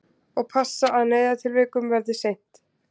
Og passa að neyðartilvikum verði sinnt